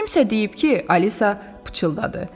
Kimsə deyib ki, Alisa pıçıldadı.